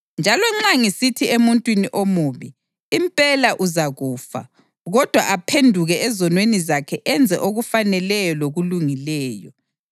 Njalo nxa ngisithi emuntwini omubi, ‘Impela uzakufa,’ kodwa aphenduke ezonweni zakhe enze okufaneleyo lokulungileyo,